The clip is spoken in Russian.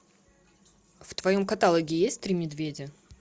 в твоем каталоге есть три медведя